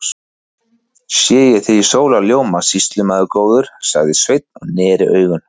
Sé ég þig í sólarljóma, sýslumaður góður, sagði Sveinn og neri augun.